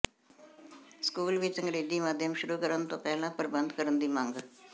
ਸਕੂਲਾਂ ਵਿੱਚ ਅੰਗਰੇਜ਼ੀ ਮਾਧਿਅਮ ਸ਼ੁਰੂ ਕਰਨ ਤੋਂ ਪਹਿਲਾਂ ਪ੍ਰਬੰਧ ਕਰਨ ਦੀ ਮੰਗ